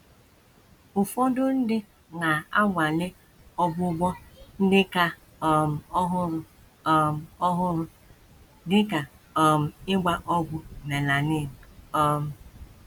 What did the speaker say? Ụfọdụ ndị na - anwale ọgwụgwọ ndị ka um ọhụrụ um ọhụrụ, dị ka um ịgba ọgwụ melanin. um